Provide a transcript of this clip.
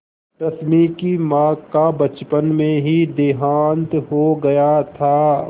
रश्मि की माँ का बचपन में ही देहांत हो गया था